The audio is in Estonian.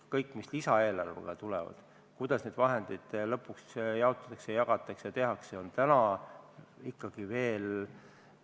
Kõik, mis lisaeelarvega tuleb, see, kuidas need vahendid lõpuks jaotatakse-jagatakse ja mida nendega tehakse, on täna ikkagi veel lahtine.